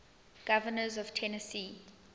governors of tennessee